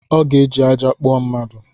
Ọ ga eji ajja akpụọ mmadu